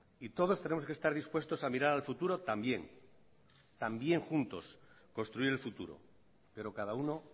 y todos tenemos que estar dispuestos a mirar al futuro también también juntos construir el futuro pero cada uno